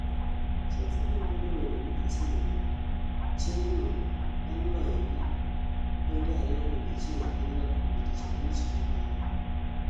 Chelsea biro bedo welo ni Arsenal, chieng'no bang loyogi 2-1 gi Liverpool tich abich mokalo